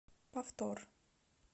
повтор